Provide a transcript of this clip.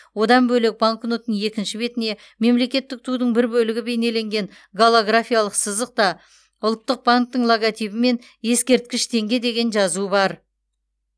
одан бөлек банкноттың екінші бетіне мемлекеттік тудың бір бөлігі бейнеленген голографиялық сызық та ұлттық банктің логотипі мен ескерткіш теңге деген жазу бар